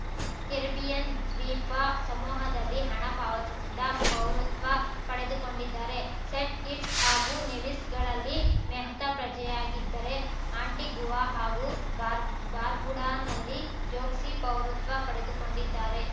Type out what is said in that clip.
Caribbean ದ್ವೀಪ ಸಮೂಹದಲ್ಲಿ ಹಣ ಪಾವತಿಸಿದ ಪೌರತ್ವ ಪಡೆದುಕೊಂಡಿದ್ದಾರೆ ಸೇಂಟ್‌ ಕಿಟ್ಸ್ ಹಾಗೂ ನೆವಿಸ್‌ಗಳಲ್ಲಿ ಮೆಹ್ತಾ ಪ್ರಜೆಯಾಗಿದ್ದರೆ ಆಂಟಿಗುವಾ ಹಾಗೂ ಬಾರ್ಬ್ ಬಾರ್ಬುಡಾನಲ್ಲಿ ಚೋಕ್ಸಿ ಪೌರತ್ವ ಪಡೆದುಕೊಂಡಿದ್ದಾರೆ